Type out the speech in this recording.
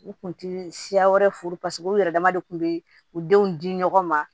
U kun ti siya wɛrɛ furu u yɛrɛ dama de kun be u denw di ɲɔgɔn ma